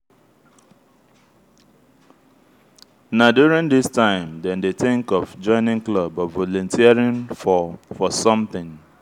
na during this time dem dey think of joining club or volunteering for for something